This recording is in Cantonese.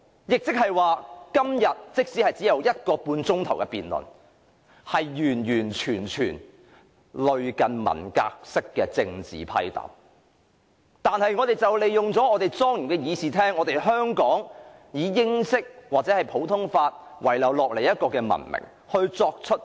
即是說，即使今天的辯論時間只有1小時30分鐘，卻完全是類近文革式的政治批鬥，而我們就利用了莊嚴的會議廳、香港的英式議會傳統或普通法遺留下來的文明作出批鬥。